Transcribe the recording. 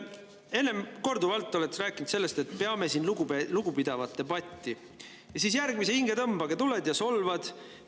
Korduvalt oled rääkinud sellest, et peame siin lugupidavat debatti, ja siis järgmise hingetõmbega tuled ja solvad.